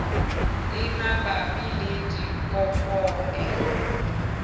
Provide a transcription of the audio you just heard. e mabapi le dikopo e